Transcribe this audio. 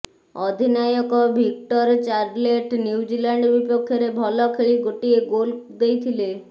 ଅଧିନାୟକ Victor Charlet New Zealand ବିପକ୍ଷରେ ଭଲ ଖେଳି ଗୋଟିଏ ଗୋଲ ଦେଇଥିଲେ